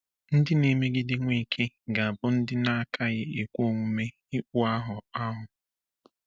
Ndị na-emegide Nweke ga-abụ ndị na-akaghị ekwe omume ikpụ ahụ ahụ.